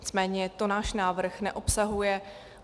Nicméně to náš návrh neobsahuje.